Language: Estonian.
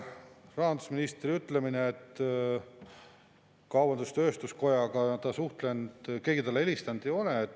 Ja rahandusministri ütlemine kaubandus-tööstuskojaga suhtlemise kohta, et keegi talle helistanud ei ole.